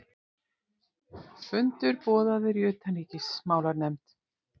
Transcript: Fundur boðaður í utanríkismálanefnd